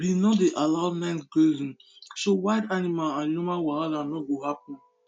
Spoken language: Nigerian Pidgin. we no dey allow night grazing so wild animal and human wahala no go happen